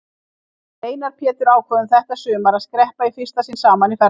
Við Einar Pétur ákváðum þetta sumar að skreppa í fyrsta sinn saman í ferðalag.